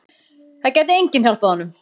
Það gæti enginn hjálpað honum.